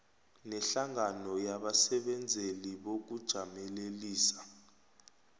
nehlangano yabasebenzeli bokujamelelisa